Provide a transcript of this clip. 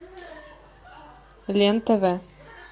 лен тв